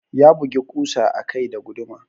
Ya bugi ƙusa a kai da guduma.